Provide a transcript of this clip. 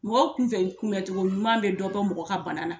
Mɔgɔ tun fɛ kunbɛncogo ɲuman bɛ dɔ bɛ mɔgɔ ka bana na